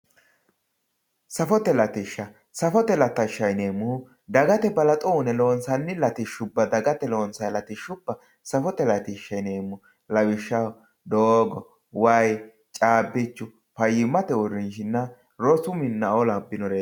safote latishsha. safote latishshaati yineemmohu dagate balaxo uune loonsanni latishshubba dagate loonsayii latishshubba safote latishsha yineemmo lawishshaho doogo wayii caabbichu fayyimate uurrinshanna rosu minnaoo labbinoreeti